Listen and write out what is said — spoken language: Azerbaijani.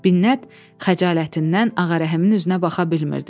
Binnət xəcalətindən Ağarəhimin üzünə baxa bilmirdi.